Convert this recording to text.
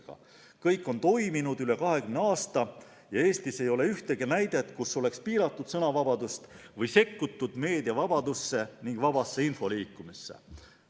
Kõik on toiminud üle 20 aasta ja Eestis ei ole ühtegi näidet selle kohta, et oleks piiratud sõnavabadust või sekkutud meediavabadusse ning vabasse infoliikumisse.